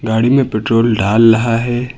गाड़ी में पेट्रोल डाल रहा है।